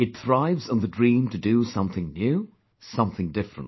It thrives on the dream to do something new, something different